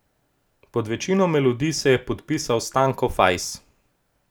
Pod večino melodij se je podpisal Stanko Fajs.